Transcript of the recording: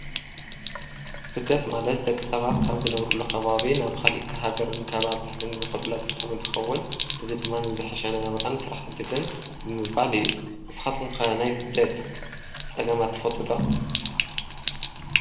ስደት ማለት ደቂ ሰባት ካብ ዝነብሩሉ ካባቢ ናብ ኻሊእ ሃገርን ከባብታትን ዝኸዱሉ ኣጋጣምን እንትኸውን እዚ ድማ ንዝሐሸ ናብራን ስራሕ ምስድድን ብምባል እዩ፡፡ ንስኻትኩም ከ ናይ ስደት ጸገማት ተፈልጡ ዶ?